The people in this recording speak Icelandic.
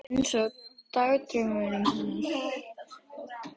Ég held að þið séuð ekki með öllum mjalla!